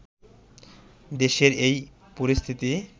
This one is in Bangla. দেশের এই পরিস্থিতি